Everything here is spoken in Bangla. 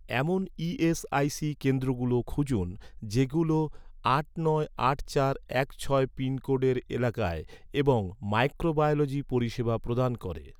এমন ই.এস.আই.সি কেন্দ্রগুলো খুঁজুন, যেগুলো আট নয় আট চার এক ছয় পিনকোডের এলাকায় এবং মাইক্রোবায়োলজি পরিষেবা প্রদান করে